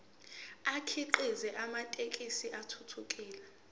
akhiqize amathekisthi athuthukile